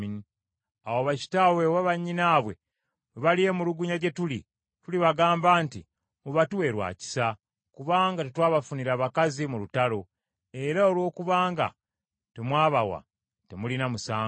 Awo bakitaabwe oba bannyinaabwe bwe balyemulugunya gye tuli, tulibagamba nti, ‘Mubatuwe lwa kisa, kubanga tetwabafunira bakazi mu lutalo, era olwokubanga temwababawa, temulina musango.’ ”